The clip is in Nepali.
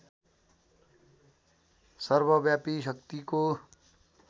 सर्वव्यापी शक्तिको